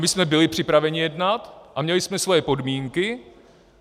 My jsme byli připraveni jednat a měli jsme svoje podmínky.